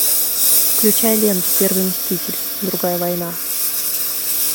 включай ленту первый мститель другая война